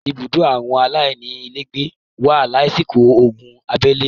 “ ibùdó àwọn aláìní ílègbé” wà lásìkò ogun abélé.